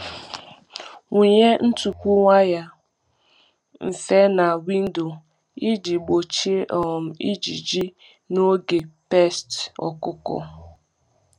Wụnye ntupu waya mfe na windo iji um gbochie um ijiji n’oge pests ọkụkọ.